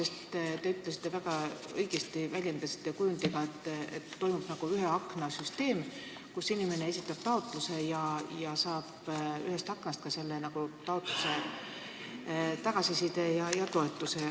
Te rääkisite väga õigesti ühe akna kujundist, süsteemist, kus inimene esitab taotluse ja saab ühest aknast sellele tagasisidet ja ka toetuse.